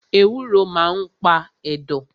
Ewúro maa n pa ẹ̀dọ̀